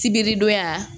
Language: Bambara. Sibiri donya